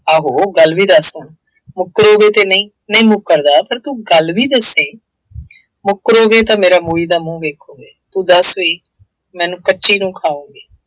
ਆਹੋ, ਗੱਲ ਵੀ ਦੱਸ ਹੁਣ, ਮੁਕਰੋਗੇ ਤਾਂ ਨਹੀਂ, ਨਹੀਂ ਮੁਕਰਦਾ ਪਰ ਤੂੰ ਗੱਲ ਵੀ ਦੱਸੇਂ, ਮੁਕਰੋਗੇਂ ਤਾਂ ਮੇਰਾ ਮੋਈ ਦਾ ਮੂੰਹ ਵੇਖੋਂਗੇ। ਤੂੰ ਦੱਸ ਬਈ ਮੈਨੂੰ ਕੱਚੀ ਨੂੰ ਖਾਊਂਗੀ।